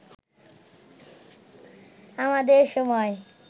আমাদের সময়